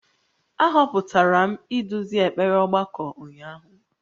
A họpụtara m iduzi ekpere ọgbakọ ụnyahụ